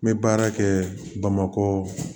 N bɛ baara kɛ bamakɔ